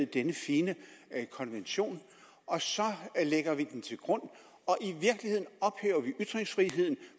denne fine konvention og så lægger vi den til grund og vi ytringsfriheden